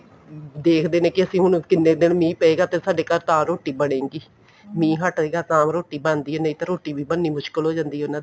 ਦੇਖਦੇ ਨੇ ਅਸੀਂ ਹੁਣ ਕਿੰਨੇ ਦਿਨ ਮੀਂਹ ਪਵੇਗਾ ਤੇ ਸਾਡੇ ਘਰ ਤਾਂ ਰੋਟੀ ਬਣੇਗੀ ਮੀਂਹ ਹਟੇਗਾ ਤਾਂ ਰੋਟੀ ਬਣ ਦੀ ਹੈ ਨਹੀਂ ਤਾਂ ਰੋਟੀ ਵੀ ਬਣ ਨੀ ਮੁਸ਼ਕਿਲ ਹੋ ਜਾਂਦੀ ਹੈ ਉਹਨਾ ਦੀ